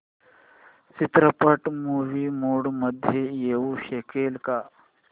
चित्रपट movie mode मध्ये येऊ शकेल का